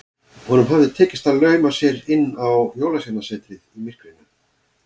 Honum hafði tekist að lauma sér inn á Jólasveinasetrið í myrkrinu.